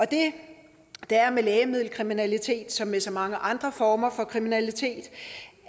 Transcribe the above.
det der er med lægemiddelkriminalitet som med så mange andre former for kriminalitet